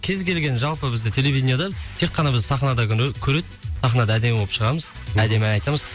кез келген жалпы бізді телевидениядан тек қана бізді сахнада ғана көреді сахнаға әдемі болып шығамыз әдемі айтамыз